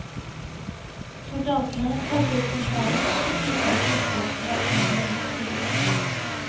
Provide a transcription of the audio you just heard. Soldatene kalte opp sentralen og fikk vite at det ikke var en av deres kolleger.